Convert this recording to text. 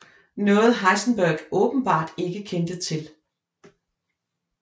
Noget Heisenberg åbenbart ikke kendte til